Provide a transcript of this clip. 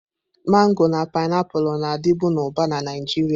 Mango na painiapulu, na-adịbu na Uba na Naịjirịa.